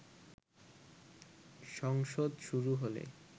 সংসদ শুরু হলে